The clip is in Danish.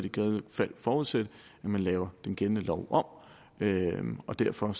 i givet fald forudsætte at man laver den gældende lov om og derfor